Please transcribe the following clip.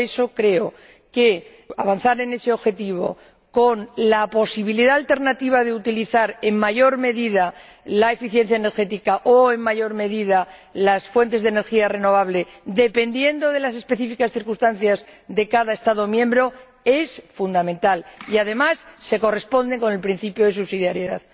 Por eso, creo que avanzar en ese objetivo, con la posibilidad alternativa de utilizar en mayor medida la eficiencia energética o en mayor medida las fuentes de energía renovable, dependiendo de las circunstancias específicas de cada Estado miembro, es fundamental y, además, se corresponde con el principio de subsidiariedad.